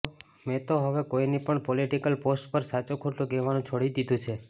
મેં તો હવે કોઇની પણ પોલિટિકલ પોસ્ટ પર સાચું ખોટું કહેવાનું છોડી દીધું છે